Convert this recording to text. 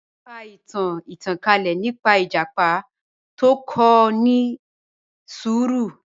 Mọ̀ n ká ìtàn ìtànkalẹ̀ nípa ìjàpá tó kò ni ṣúrù